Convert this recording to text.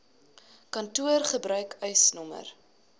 kantoor gebruik eisnr